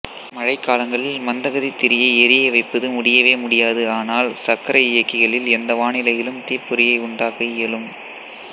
மழைக்காலங்களில் மந்தகதி திரியை எரியவைப்பது முடியவேமுடியாது ஆனால் சக்கரயியக்கிகளில் ஏந்த வானிலையிலும் தீப்பொறியை உண்டாக்க இயலும்